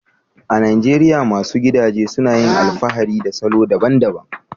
A Najeriya, masu gidaje suna yin alfahari da salo daban-daban